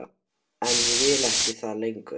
En ég vil það ekki lengur.